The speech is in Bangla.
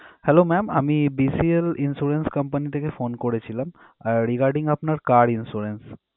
Hello ma'am আমি BCL insurance company থেকে phone করেছিলাম regarding আপনার car insurance